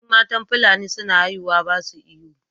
In matan fulani suna haihuwa ba su ihu